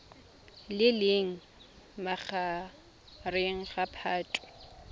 le leng magareng ga phatwe